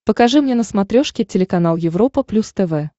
покажи мне на смотрешке телеканал европа плюс тв